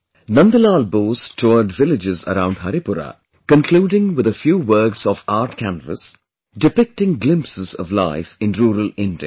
Nandlal Bose toured villages around Haripura, concluding with a few works of art canvas, depicting glimpses of life in rural India